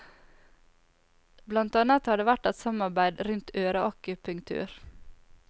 Blant annet har det vært et samarbeid rundt øreakupunktur.